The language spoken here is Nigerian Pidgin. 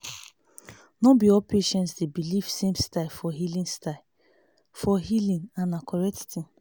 no be all patients dey believe same style for healing style for healing and na correct thing